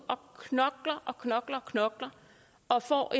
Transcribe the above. og knokler og knokler og får